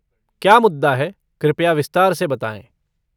क्या मुद्दा है कृपया विस्तार से बताएँ।